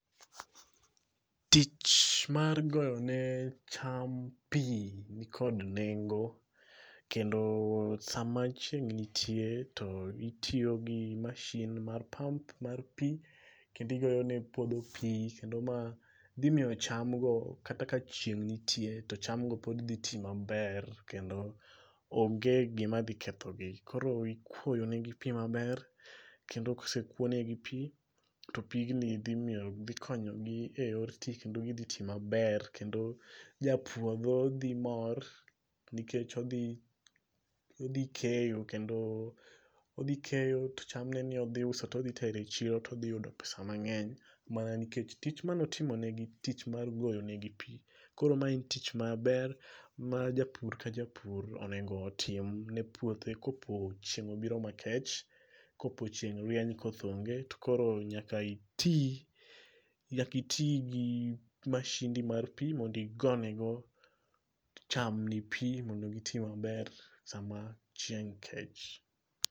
Tich mar goyone cham pi nikod nengo kendo sama chieng' nitie to itiyo gi mashin mar pump mar pi kendo igoyone puodho pi kendo ma dhimiyo chamgo kata ka chieng' nitie to chamgo pod dhi ti maber kendo onge gimadhi kethogi. Koro ikuoyonegi pi maber kendo kosekwonegi pi to pigni dhikonyegi e yor ti kendo gidhiti maber kendo japuodho dhimor nikech odhi keyo kendo odhikeyo to chamneni odhiuso todhi tero e chiro todhiyudo pesa mang'eny mana nikech tich maneotimonegi tich mar goyonegi pi. Koro ma en tich maber ma japur ka japur onego timne puothe kopo chieng' obiro makech, kopo chieng' rieny koth onge to koro nyaka iti gi mashindi mar pi mondo igonego chamni pi mondo giti maber sama chieng' kech.